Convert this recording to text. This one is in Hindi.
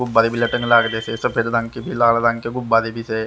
गुब्बारे भी लटक लगलछे सफेद रंग के भी लाल रंग के भी गुब्बारे लगलचे --